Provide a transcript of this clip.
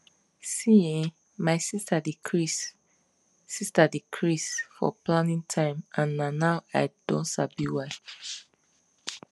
see[um]my sister dey craze sister dey craze for planning time and na now i don sabi why